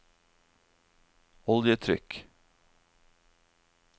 oljetrykk